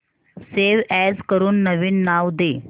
save as करून नवीन नाव दे